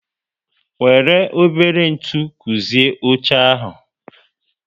Wéré ebere ntụ guzie óche ahu